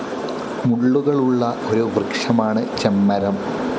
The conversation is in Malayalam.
മുള്ളുകളുള്ള ഒരു വൃക്ഷമാണ് ചെമ്മരം.